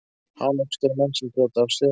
Hana uppskera menn sem brjóta af sér.